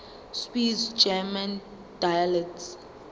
swiss german dialects